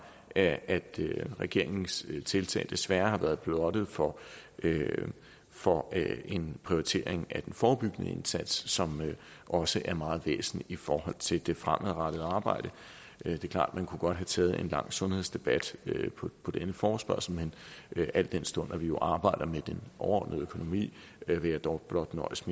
at regeringens tiltag desværre har været blottet for for en prioritering af den forebyggende indsats som også er meget væsentlig i forhold til det fremadrettede arbejde det er klart vi kunne godt have taget en lang sundhedsdebat på denne forespørgsel men al den stund at vi jo arbejder med den overordnede økonomi vil jeg dog blot nøjes